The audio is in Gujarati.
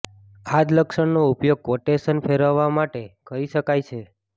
આ જ લક્ષણનો ઉપયોગ ક્વોટેશન ફેરવવા માટે કરી શકાય છે